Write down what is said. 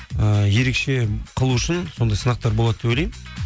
ііі ерекше қылу үшін сондай сынақтар болады деп ойлаймын